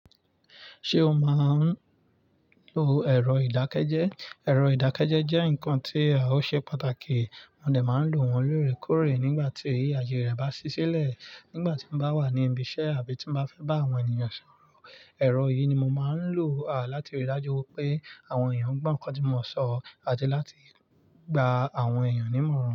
Ṣé o máa ń lo ẹ̀rọ ìdákẹ́jẹ́? Ẹ̀rọ ìdákẹ́jẹ́ jẹ́ nǹkan tí ó ṣe pàtàkì, mo dẹ̀ máa ń lo wọ́n loórèkoórè nígbà tí àaye rẹ̀ bá sì sílẹ̀ nígbà tí mo bá wà ní ibi iṣẹ́ àbí tí n bá fẹ́ bá àwọn ènìyàn sọ̀rọ̀. Ẹ̀rọ yìí ni mo máa ń lò láti rí i dájú wí pé àwọn èèyàn gbọ́ nǹkan tí mo sọ àti láti gba àwọn èèyàn ní ìmọ̀ràn.